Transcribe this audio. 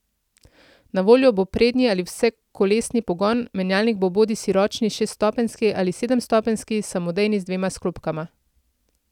Na voljo bo prednji ali vsekolesni pogon, menjalnik bo bodisi ročni šeststopenjski ali sedemstopenjski samodejni z dvema sklopkama.